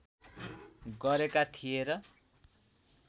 गरेका थिए र